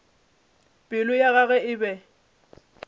pelo ya gagwe e be